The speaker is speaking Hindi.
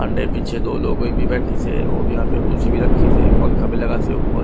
अंडे पीछे दो लोगो भी बैठी से और यहां पे कुर्सी भी रखी से पंखा भी लगा से ऊपर--